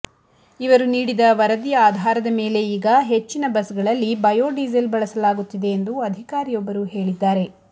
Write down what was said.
ಇವರು ನೀಡಿದ ವರದಿಯ ಆಧಾರದ ಮೇಲೆ ಈಗ ಹೆಚ್ಚಿನ ಬಸ್ಗಳಲ್ಲಿ ಬಯೋ ಡೀಸೆಲ್ ಬಳಸಲಾಗುತ್ತಿದೆ ಎಂದು ಅಧಿಕಾರಿಯೊಬ್ಬರು ಹೇಳಿದ್ದಾರೆ